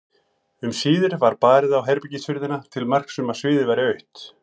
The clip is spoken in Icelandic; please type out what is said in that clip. Um síðir var barið á herbergishurðina til marks um að sviðið væri autt.